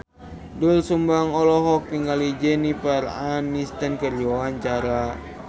Doel Sumbang olohok ningali Jennifer Aniston keur diwawancara